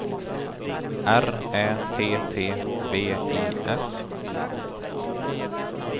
R Ä T T V I S